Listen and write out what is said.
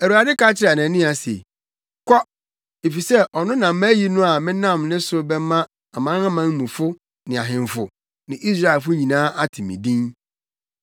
Awurade ka kyerɛɛ Anania se, “Kɔ! Efisɛ ɔno na mayi no a menam ne so bɛma amanamanmufo ne ahemfo ne Israelfo nyinaa ate me din.